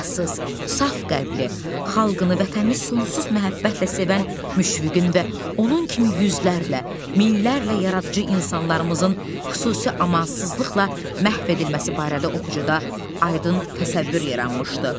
Günahsız, saf qəlbli, xalqını, vətənini sonsuz məhəbbətlə sevən Müşviqin və onun kimi yüzlərlə, minlərlə yaradıcı insanlarımızın xüsusi amansızlıqla məhv edilməsi barədə oxucuda aydın təsəvvür yaranmışdı.